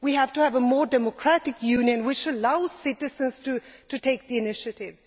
We have to have a more democratic Union which allows citizens to take the initiative.